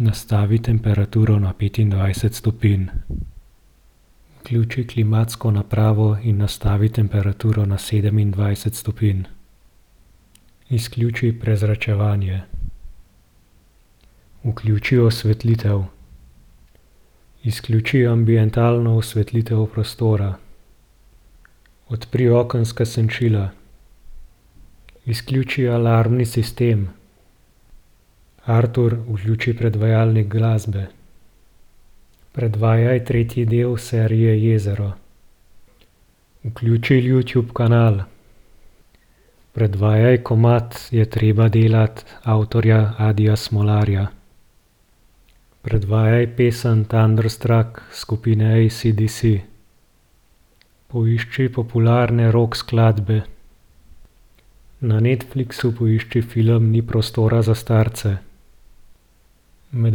Nastavi temperaturo na petindvajset stopinj. Vključi klimatsko napravo in nastavi temperaturo na sedemindvajset stopinj. Izključi prezračevanje. Vključi osvetlitev. Izključi ambientalno osvetlitev prostora. Odpri okenska senčila. Izključi alarmni sistem. Artur, vključi predvajalnik glasbe. Predvajaj tretji del serije Jezero. Vključi Youtube kanal. Predvajaj komad Je treba delat avtorja Adija Smolarja. Predvajaj pesem Thunderstruck skupine AC/DC. Poišči popularne rock skladbe. Na Netflixu poišči film Ni prostora za starce. Med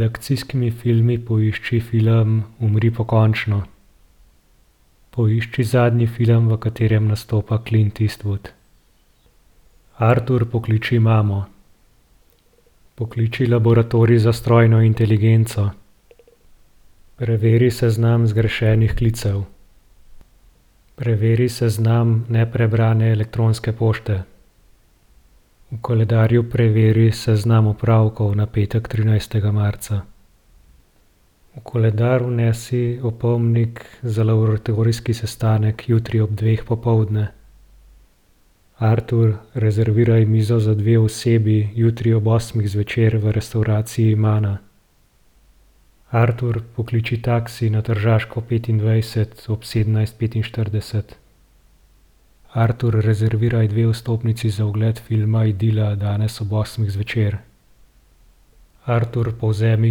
akcijskimi filmi poišči film Umri pokončno. Poišči zadnji film, v katerem nastopa Clint Eastwood. Artur, pokliči mamo. Pokliči laboratorij za strojno inteligenco. Preveri seznam zgrešenih klicev. Preveri seznam neprebrane elektronske pošte. V koledarju preveri seznam opravkov na petek, trinajstega marca. V koledar vnesi opomnik za laboratorijski sestanek jutri ob dveh popoldne. Artur, rezerviraj mizo za dve osebi jutri ob osmih zvečer v restavraciji Mana. Artur, pokliči taksi na Tržaško petindvajset ob sedemnajst petinštirideset. Artur, rezerviraj dve vstopnici za ogled filma Idila danes ob osmih zvečer. Artur, povzemi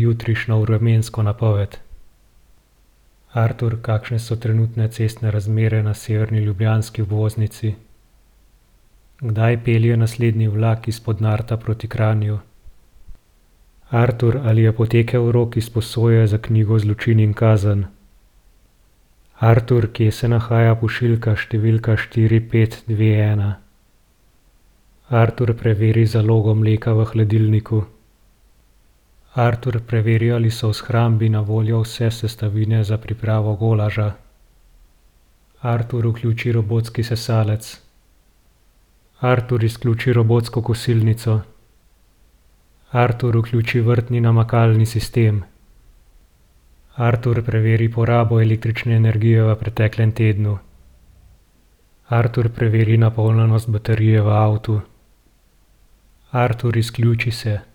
jutrišnjo vremensko napoved. Artur, kakšne so trenutne cestne razmere na severni ljubljanski obvoznici? Kdaj pelje naslednji vlak iz Podnarta proti Kranju? Artur, ali je potekel rok izposoje za knjigo Zločin in kazen? Artur, kje se nahaja pošiljka številka štiri, pet, dve, ena? Artur, preveri zalogo mleka v hladilniku. Artur, preveri, ali so v shrambi na voljo vse sestavine za pripravo golaža. Artur, vključi robotski sesalec. Artur, izključi robotsko kosilnico. Artur, vključi vrtni namakalni sistem. Artur, preveri porabo električne energije v preteklem tednu. Artur, preveri napolnjenost baterije v avtu. Artur, izključi se.